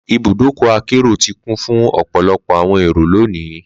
lbùdókọ̀ akero ti kun fun ọpọlọpọ awọn ero loni.